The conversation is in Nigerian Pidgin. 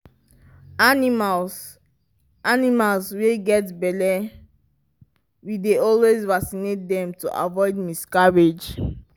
animals animals wy get belle we dey always vacinate dem to avoid miscarrige